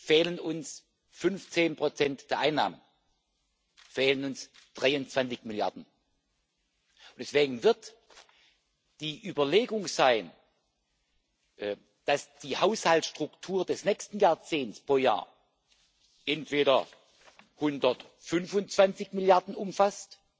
fehlen uns 15 Prozent der Einnahmen, fehlen uns 23 Milliarden, und deswegen wird die Überlegung sein, dass die Haushaltsstruktur des nächsten Jahrzehnts pro Jahr entweder 125 Milliarden umfasst